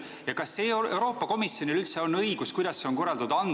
Ja kas Euroopa Komisjonil üldse on õigus – kuidas see võiks olla korraldatud?